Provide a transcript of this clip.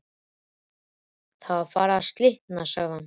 Það er farið að slitna sagði hann.